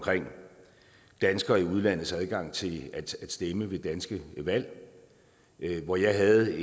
danskere i udlandets adgang til at stemme ved danske valg hvor jeg havde